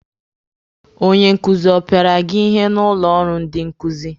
Onye nkuzi ọ pịara gị ihe n'ụlọ ọrụ ndị nkuzi?